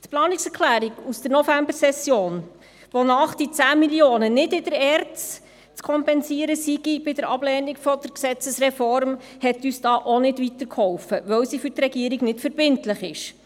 Die Planungserklärung aus der Novembersession, wonach die 10 Mio. Franken bei Ablehnung der Gesetzesreform nicht in der ERZ zu kompensieren seien, hat uns dabei auch nicht weitergeholfen, weil sie für die Regierung nicht verbindlich ist.